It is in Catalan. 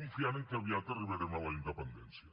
confiant que aviat arribarem a la independència